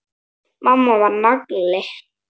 Mamma var nagli.